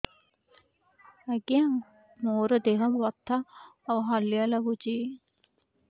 ଆଜ୍ଞା ମୋର ଦେହ ବଥା ଆଉ ହାଲିଆ ଲାଗୁଚି